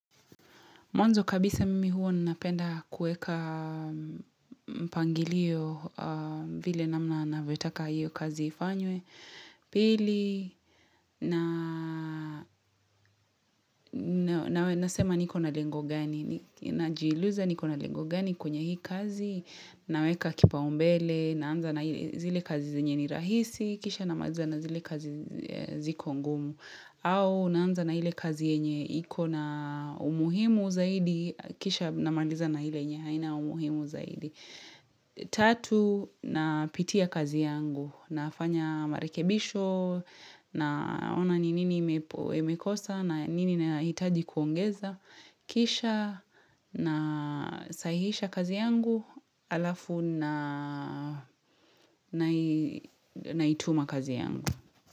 Mwanzo kabisa mimi huo nnapenda kuweka mpangilio vile namna navetaka hiyo kazi ifanywe. Pili, nawe nasema nikona lengo gani, najiluza nikona lengo gani kwenye hii kazi, naweka kipa umbele, naanza na zile kazi zenye ni rahisi, kisha namaliza na zile kazi ziko ngumu, au naanza na ile kazi yenye, iko na umuhimu zaidi, kisha na manliza na ile yenye, haina umuhimu zaidi. Tatu, na pitia kazi yangu, nafanya marekebisho, naona nini imekosa, na nini na hitaji kuongeza, kisha na sahisha kazi yangu, alafu na ituma kazi yangu.